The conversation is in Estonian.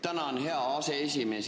Tänan, hea aseesimees!